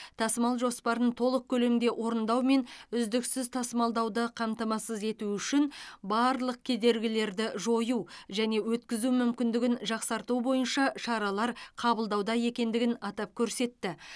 тасымал жоспарын толық көлемде орындау мен үздіксіз тасымалдауды қамтамасыз ету үшін барлық кедергілерді жою және өткізу мүмкіндігін жақсарту бойынша шаралар қабылдауда екендігін атап көрсетті